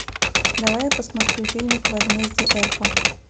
давай я посмотрю фильмик возмездие эрпа